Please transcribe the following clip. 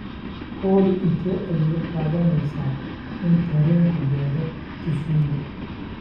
olly intee ayay qaadanaysaa in tareenku gaadho kisumu